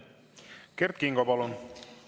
Kert Kingo, palun!